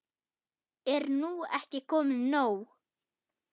Er nú ekki komið nóg?